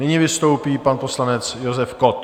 Nyní vystoupí pan poslanec Josef Kott.